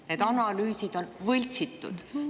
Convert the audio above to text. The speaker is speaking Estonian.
Need analüüsid on võltsitud.